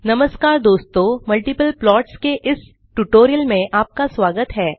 नमस्कार दोस्तों multiple plots के इस स्पोकन ट्यूटोरियल में आपका स्वागत है